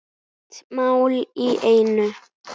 Eitt mál í einu.